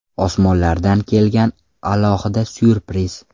Osmonlardan kelgan alohida syurpriz.